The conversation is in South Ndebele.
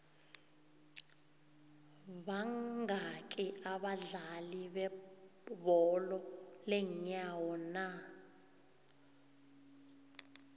banqaki abadlali bebolo lenyawo na